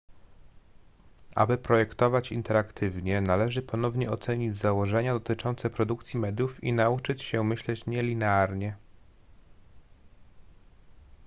aby projektować interaktywnie należy ponownie ocenić założenia dotyczące produkcji mediów i nauczyć się myśleć nielinearnie